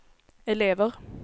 elever